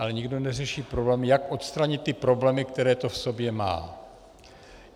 Ale nikdo neřeší problém, jak odstranit ty problémy, které to v sobě má.